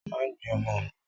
Má gbé ọmọ mi.